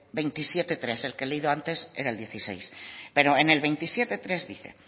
veintisiete punto tres el que he leído antes era el dieciséis pero en el veintisiete punto tres dice